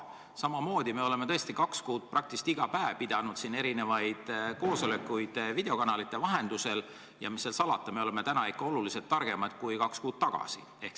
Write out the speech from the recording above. Me oleme tõesti kaks kuud praktiliselt iga päev pidanud erinevaid koosolekuid videokanalite vahendusel ja mis seal salata, me oleme täna ikka märksa targemad kui kaks kuud tagasi.